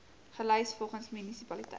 gelys volgens munisipaliteit